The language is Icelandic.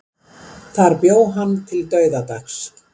Þar bjó hann til dauðadags.